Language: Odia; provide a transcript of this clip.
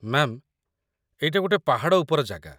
ମ୍ୟାମ୍, ଏଇଟା ଗୋଟେ ପାହାଡ଼ ଉପର ଜାଗା ।